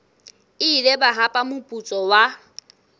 ile ba hapa moputso wa